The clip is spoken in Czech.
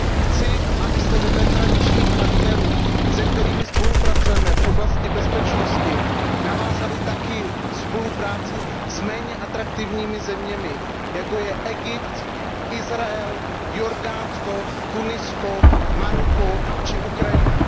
Chci, abyste vedle tradičních partnerů, se kterými spolupracujeme v oblasti bezpečnosti, navázali také spolupráci s méně atraktivními zeměmi, jako jsou Egypt, Izrael, Jordánsko, Tunisko, Maroko či Ukrajina.